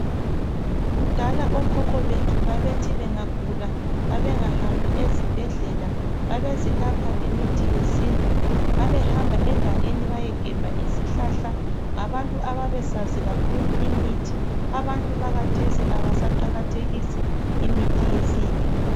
Kudala okhokho bethu babethi benga gula ,babengahambi ezibhedlela babezilapha ngemithi yesintu ,babehamba egangeni bayegebha izihlahla , ngabantu ababesazi kakhulu imithi ,abantu bakhathesi abasaqakathekisi imithi yesintu